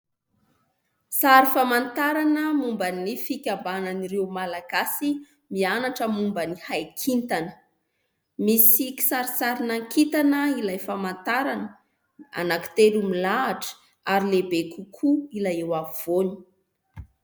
Sary famantarana momban'ny fikambanan'ireo Malagasy mianatra momban'ny haikintana. Misy kisarisarin-kintana ilay famantarana anankitelo milahatra; ary lehibe kokoa ilay eo afovoany.